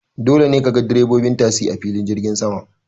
Dole ne kaga direbobin tasi a filin jirgin sama.